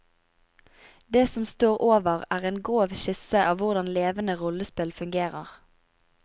Det som står over er en grov skisse av hvordan levende rollespill fungerer.